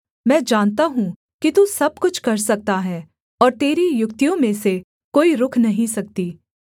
मैं जानता हूँ कि तू सब कुछ कर सकता है और तेरी युक्तियों में से कोई रुक नहीं सकती